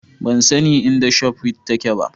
Ban san inda Shop Rite take ba